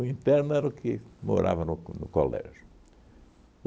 interno era o que morava no co no colégio.